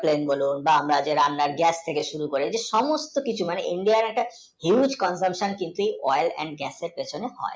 আমরা যেই রান্নার gas use করি এই সমস্ত কিছু India একটা huge consumption কিন্তু oil and gas এ হয়।